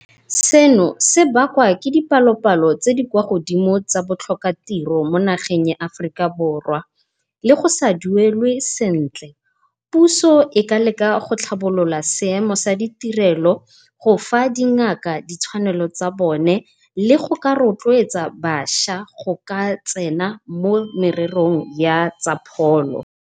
Seno se bakwa ke dipalopalo tse di kwa godimo tsa botlhokatiro mo nageng ya Aforika Borwa, le go sa duelwe sentle. Puso e ka leka go tlhabolola seemo sa ditirelo, gofa dingaka ditshwanelo tsa bone le go ka rotloetsa bašwa go ka tsena mo mererong ya tsa pholo.